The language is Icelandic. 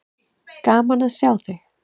Gaman að sjá þig.